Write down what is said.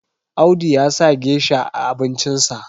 Audu ya sa gesha a abincinsa